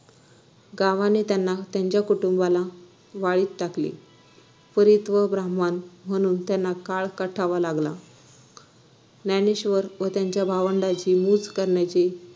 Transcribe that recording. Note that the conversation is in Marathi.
गावाने त्यांना त्यांच्या कुटुंबाला वाळीत टाकले परित्यक्त ब्राम्हण म्हणून त्यांना काळ कंठावा लागला ज्ञानेश्वर व त्यांच्या भावंडांची मुंज करण्याचे